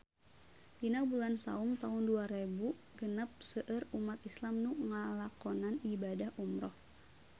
Dina bulan Saum taun dua rebu genep seueur umat islam nu ngalakonan ibadah umrah